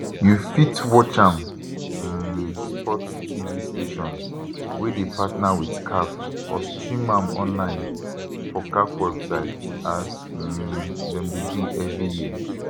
you fit watch am um sports tv stations wey dey partner wit caf or stream am online for caf website as um dem dey do evri year